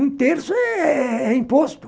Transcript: Um terço é é é imposto.